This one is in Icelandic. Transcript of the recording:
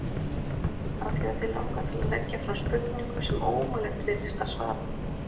Af því að þig langar til að leggja fram spurningu sem ómögulegt virðist að svara.